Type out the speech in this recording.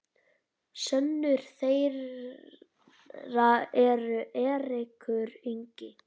sonur þeirra er Eiríkur Ingi.